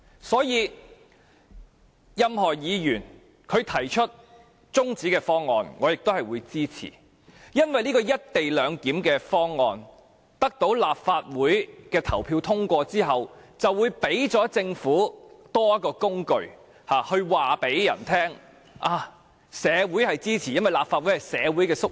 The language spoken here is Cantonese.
所以，不論任何議員提出中止待續議案，我也會支持，因為這項"一地兩檢"方案一旦獲得立法會表決通過，便會給予政府多一項工具，可以向別人宣稱社會也支持它的做法，因為立法會是社會的縮影。